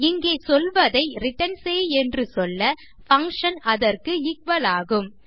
இங்கே சொல்வதை ரிட்டர்ன் செய் என்று சொல்ல பங்ஷன் அதற்கு எக்குவல் ஆகும்